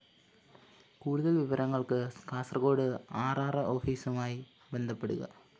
കൂടുതല്‍ വിവരങ്ങള്‍ക്ക് Kasaragod R‍ R‍ ഓഫീസുമായി ബന്ധപ്പെടുക